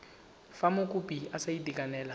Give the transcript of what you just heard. fa mokopi a sa itekanela